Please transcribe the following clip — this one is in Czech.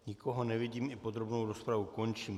Nikoho nevidím, i podrobnou rozpravu končím.